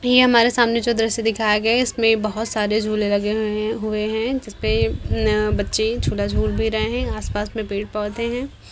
ये हमारे सामने जो दृश्य दिखाया गया है इसमें बहुत सारे झूले लगे हुए हैं जिसपे बच्चे झूला झूल भी रहे हैं। आसपास में पेड़-पौधे हैं ।